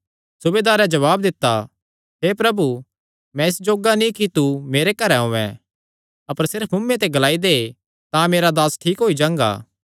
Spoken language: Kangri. सूबेदारें जवाब दित्ता हे प्रभु मैं इस जोग्गा नीं कि तू मेरे घरैं औयें अपर सिर्फ मुँऐ ते ग्लाई दे तां मेरा दास ठीक होई जांगा